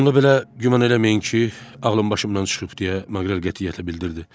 Bununla belə, güman eləməyin ki, ağlım başımdan çıxıb deyə, Maqrel qətiyyətlə bildirdi.